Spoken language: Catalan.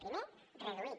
primer reduir